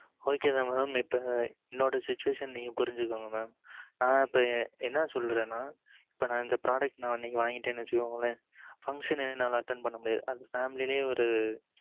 ok mam என்னோட situation நீங்க புரிச்சிக்கோங்க mam நா இப்பம் என்ன சொல்லுறது நா இப்பம் இந்த product இன்னைக்கு வாங்கிட்டானான்னு வச்சிக்கோங்க function என்னாலே attend பண்ண முடியாது அது family ஒரு